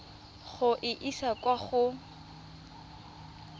go e isa kwa go